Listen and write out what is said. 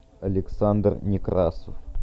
александр некрасов